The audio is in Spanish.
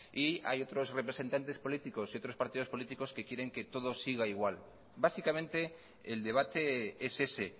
y hay otros representantes políticos y otros partidos políticos que quieren que todo siga igual básicamente el debate es ese